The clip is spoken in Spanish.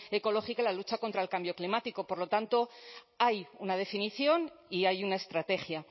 ecológica y la lucha contra el cambio climático por lo tanto hay una definición y hay una estrategia